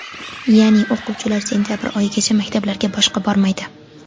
Ya’ni, o‘quvchilar sentabr oyigacha maktablarga boshqa bormaydi.